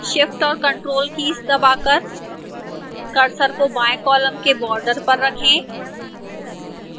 shift और ctrl keys दबाकर cursor को बाएं column के border पर रखें